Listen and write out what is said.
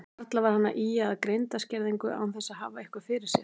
Varla var hann að ýja að greindarskerðingu án þess að hafa eitthvað fyrir sér.